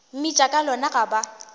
mmitša ka lona ga ba